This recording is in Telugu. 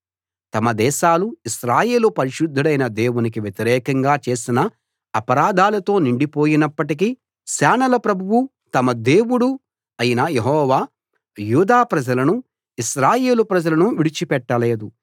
తమ దేశాలు ఇశ్రాయేలు పరిశుద్ధుడైన దేవునికి వ్యతిరేకంగా చేసిన అపరాధాలతో నిండిపోయినప్పటికీ సేనల ప్రభువూ తమ దేవుడూ అయిన యెహోవా యూదా ప్రజలనూ ఇశ్రాయేలు ప్రజలనూ విడిచిపెట్టలేదు